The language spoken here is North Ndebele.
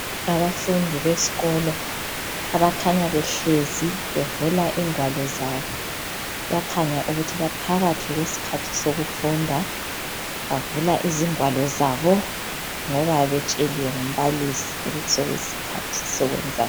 Abafundi beskolo abakhanya behlezi bevula ingwalo zabo bayakhanya ukuthi baphakathi kwesikhathi sokufunda. Bavula ingwalo zabo ngoba betsheliwe ngumbalisi ukuthi sokuyi sikhathi sokwenza lokhu.